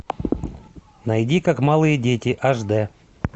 найди как малые дети аш дэ